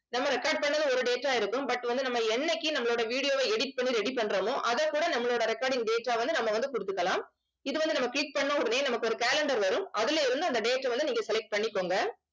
நம்ம record பண்ணது ஒரு date ஆ இருக்கும். but வந்து நம்ம என்னைக்கு நம்மளோட video வை edit பண்ணி ready பண்றோமோ அதைக்கூட நம்மளோட recording data வந்து நம்ம வந்து கொடுத்துக்கலாம். இது வந்து நம்ம click பண்ண உடனே நமக்கு ஒரு calendar வரும். அதிலே இருந்து அந்த date அ வந்து நீங்க select பண்ணிக்கோங்க